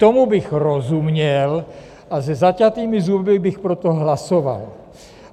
Tomu bych rozuměl a se zaťatými zuby bych pro to hlasoval.